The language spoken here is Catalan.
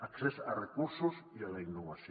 accés a recursos i a la innovació